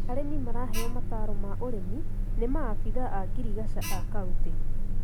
Arĩmi maraheyo mataaro ma ũrĩmi na maabica a ngirigaca a kaunitĩ.